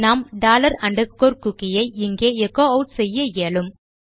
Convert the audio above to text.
நாம் dollar underscore cookie ஐ இங்கே எச்சோ ஆட் செய்ய இயலும்